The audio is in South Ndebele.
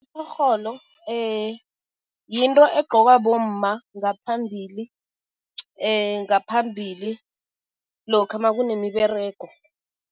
Itjorholo yinto egqokwa bomma ngaphambili ngaphambili lokha makunemiberego.